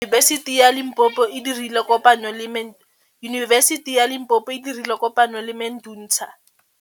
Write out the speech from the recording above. Yunibesiti ya Limpopo e dirile kopanyô le MEDUNSA.